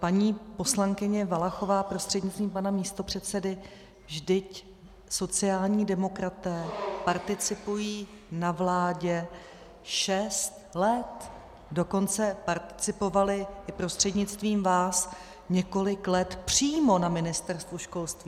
Paní poslankyně Valachová prostřednictvím pana místopředsedy, vždyť sociální demokraté participují na vládě šest let, dokonce participovali i prostřednictvím vás několik let přímo na Ministerstvu školství.